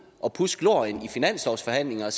og pudse glorien i finanslovsforhandlinger og